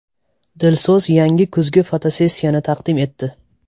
Dilso‘z yangi kuzgi fotosessiyani taqdim etdi .